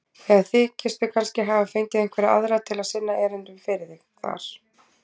Eða þykistu kannski hafa fengið einhverja aðra til að sinna erindunum fyrir þig þar.